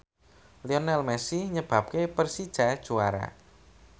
Lionel Messi nyebabke Persija juara